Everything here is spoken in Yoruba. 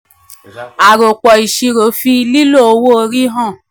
àròpọ̀-ìṣirò fi lílo owó orí hàn.